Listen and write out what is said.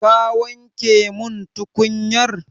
Ka wanke min tukunyar?